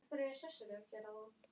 Ég skil að þú sért í uppnámi.